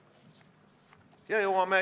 Aitäh!